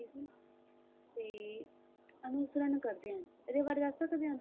ਦਾ ਅਨੁਸਰਨ ਕਰਦੇ ਹਨ ਇਸ ਬਾਰੇ ਦੱਸ ਸਕਦੇ ਹਨ